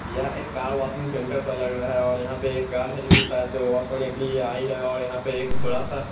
यह एक car washing centre सा लग रहा है और यहां पे एक कार है जो कि शायद से वॉश होने के लिए आई है और यहां पे एक बड़ा सा--